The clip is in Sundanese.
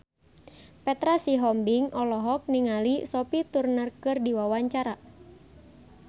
Petra Sihombing olohok ningali Sophie Turner keur diwawancara